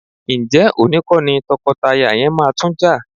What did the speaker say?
Ǹjẹ́ òní kọ́ ni tọkọtaya yẹn máa tún jà?